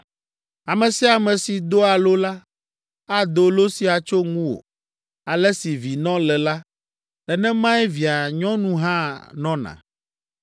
“Ame sia ame si doa lo la, ado lo sia tso ŋuwò, ‘Ale si vinɔ le la, nenemae via nyɔnu hã nɔna.’